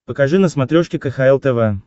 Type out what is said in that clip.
покажи на смотрешке кхл тв